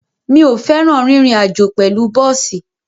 Mi ò fẹ́ràn rírin àjó pẹ̀lú bọ́ọ̀sì.